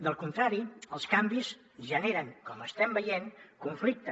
del contrari els canvis generen com estem veient conflicte